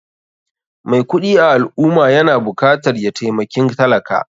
Mai kuɗi a al ummah yana bukatar ya taimakin talaka.